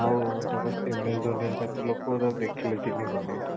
ଆଉ ତାକୁ MS ଧୋନି ରେ ତାକୁ ଲୋକ ତାକୁ ଦେଖିଲେ ଚିନହୀ ପାରୁ ନଥିଲେ